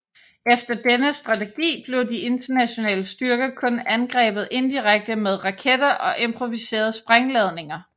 Efter denne strategi blev de internationale styrker kun angrebet indirekte med raketter og improviserede sprængladninger